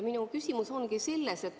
Minu küsimus ongi selline.